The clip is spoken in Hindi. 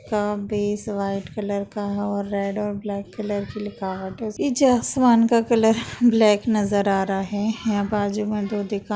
का बैस वाइट कलर का और रेड और ब्लैक कलर की लिखावट है। निचे आसमान का कलर ब्लैक नज़र आ रहा है। यहाँ बाजु में दो दुकान --